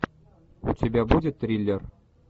у тебя будет триллер